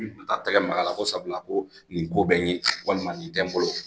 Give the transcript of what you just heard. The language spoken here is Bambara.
a tɛgɛ Maka la, ko sabula ko nin ko bɛ n ye walima nin tɛ n bolo